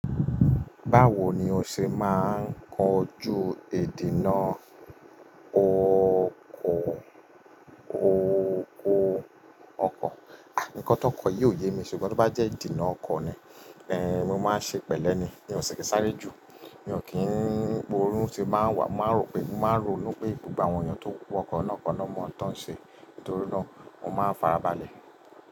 Báwo ni o ṣe máa ń kojú èdì náà? O ko, o ko ọkọ̀. Nkan tó kọ̀ yóò yé mi ṣùgbọ́n tí bá jẹ́ ìdènà ọkọ̀ ni, eh mi máa ṣe pẹ̀lẹ́ ni. Mi ò ṣe kí sáré jù, mi ò kí ń po orun ṣe máa wá, máa rò pé, máa rò nu pé gbogbo àwọn èeyàn tó ń wọkọ̀ iná kaná mọ̀ tán ṣe. Nítorí náà, mo máa farabalẹ̀